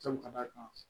Kan ka d'a kan